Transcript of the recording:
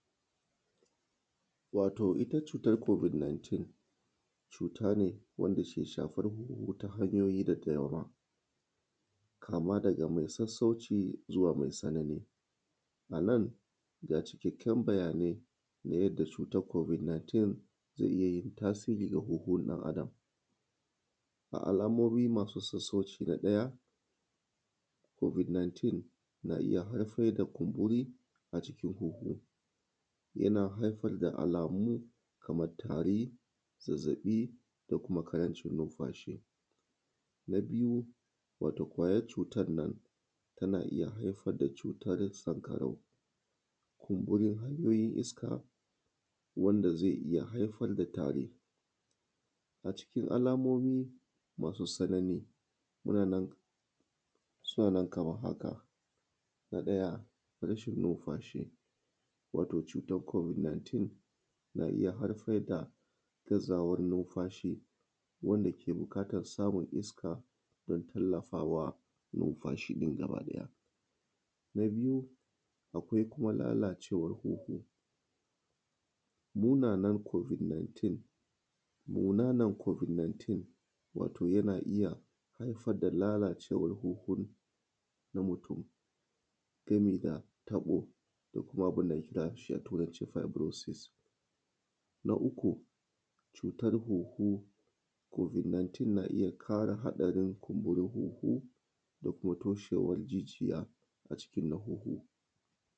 Wato ita cutar covid 19, cuta ne wanda ke shafar huhu ta hanyoyi da dama, kama daga mai sassauci zuwa mai tsanani. A nan, ga cikakken bayanai na yadda cutar covid 19 ke iya yin tasiri ga huhun ɗan-Adam:: a alammomi masu sassauci na ɗaya, covid 19 na iya haifar da kumburi a cikin huhu. Yana haifar da alamu kamar tari, zazzaɓi ko kuma ƙarancin numfashi. Na biyu wato ƙwayar cutar nan, tana iya haifar da cutar sanƙarau, kumburin hanyoyin iska, wanda zai iya haifar da tari. A cikin alamomi masu tsanani, muna nan, suna nan kamar haka: na ɗaya, rashin numfashi, wato cutar covid 19 na iya haifar da gazawar numfashi wanda ke buƙatar samun iska don tallafa wa numfashi na gaba ɗaya. Na biyu, akwai kuma lalacwar huhu. Munanan covid 19, munanan covid 19 wato yana iya haifar da lalacewar huhu na mutum gami da taɓo da kuma abin da ake kiranshi a turanci fibroices. na uku, cutar huhu, covid 19 na iya ƙara haɗarin kumburin huhu da kuma toshewar jijiya a cikin na huhu.